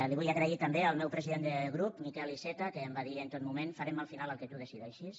l’hi vull agrair també al meu president de grup miquel iceta que em va dir en tot moment farem al final el que tu decideixis